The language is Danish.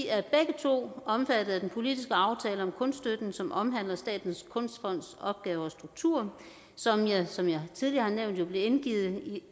to omfattet af den politiske aftale om kunststøtten som omhandler statens kunstfonds opgaver og struktur som jo som jeg tidligere har nævnt blev